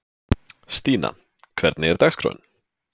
Stína, hvernig er dagskráin?